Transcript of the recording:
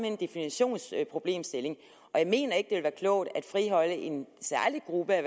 en definitionsproblemstilling jeg mener ikke det vil være klogt at friholde en særlig gruppe af